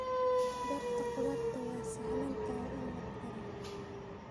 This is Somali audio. Beerta khudaarta waa sahlan tahay in la koro.